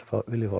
vilji fá